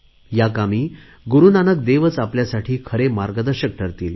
या कामी गुरुनानक देवच आपल्यासाठी खरे मार्गदर्शक ठरतील